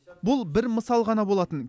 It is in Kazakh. бұл бір мысал ғана болатын